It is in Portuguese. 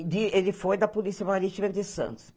Ele foi da Polícia Marítima de Santos.